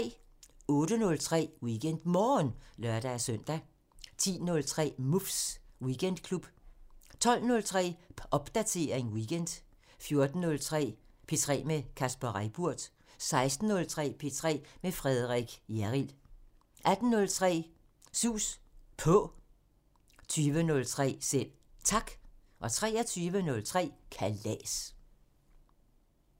08:03: WeekendMorgen (lør-søn) 10:03: Muffs Weekendklub 12:03: Popdatering weekend 14:03: P3 med Kasper Reippurt 16:03: P3 med Frederik Hjerrild 18:03: Sus På 20:03: Selv Tak 23:03: Kalas